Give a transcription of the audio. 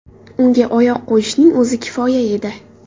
Unga oyoq qo‘yishning o‘zi kifoya edi.